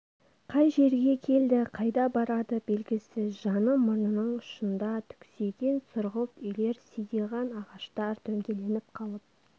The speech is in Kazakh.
қай жерге келді қайда барады белгісіз жаны мұрнының ұшында түксиген сұрғылт үйлер сидиған ағаштар дөңгеленіп қалып